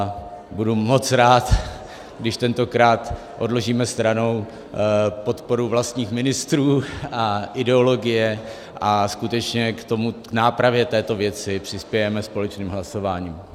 A budu moc rád, když tentokrát odložíme stranou podporu vlastních ministrů a ideologie a skutečně k nápravě této věci přispějeme společným hlasováním.